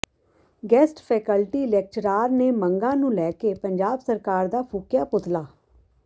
guest faculty lecturer ਨੇ ਮੰਗਾਂ ਨੂੰ ਲੈ ਕੇ ਪੰਜਾਬ ਸਰਕਾਰ ਦਾ ਫੂਕਿਆ ਪੁਤਲਾ